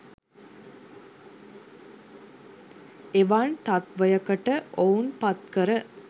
එවන් තත්ත්වයකට ඔවුන් පත් කර